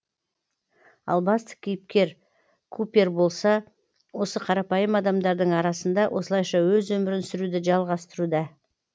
ал басты кейіпкер купер болса осы қарапайым адамдардың арасында осылайша өз өмірін сүруді жалғастыруда